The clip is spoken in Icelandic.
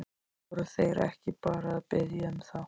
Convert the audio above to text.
Voru þeir ekki bara að biðja um það?